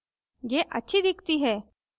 यह अच्छी दिखती है